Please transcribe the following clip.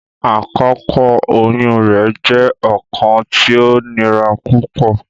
Akoko oyun rẹ jẹ ọkan ti o nira pupọ.